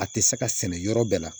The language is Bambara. A tɛ se ka sɛnɛ yɔrɔ bɛɛ la